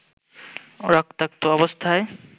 রক্তাক্ত অবস্থায়